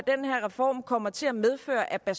den her reform kommer til at medføre af